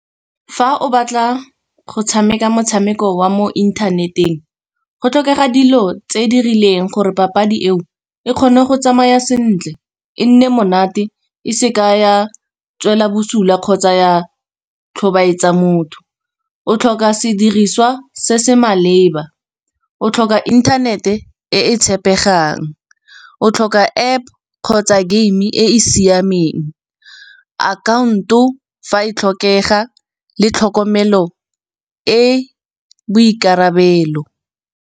Fa o batla go tshameka motshameko wa mo inthaneteng, go tlhokega dilo tse di rileng gore papadi eo e kgone go tsamaya sentle e nne monate e seka ya tswela bosula, kgotsa ya tlhobaetsa motho. O tlhoka sediriswa se se maleba, o tlhoka inthanete e tshepegang, o tlhoka App kgotsa game e e siameng. Akhaonto fa e tlhokega le tlhokomelo e boikarabelo.